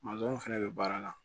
fɛnɛ bɛ baara la